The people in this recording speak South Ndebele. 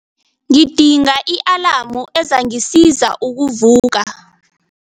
Ngidinga i-alamu ezangisiza ukuvuka.